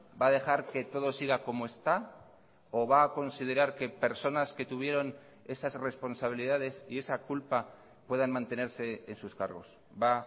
va a dejar que todo siga como está o va a considerar que personas que tuvieron esas responsabilidades y esa culpa puedan mantenerse en sus cargos va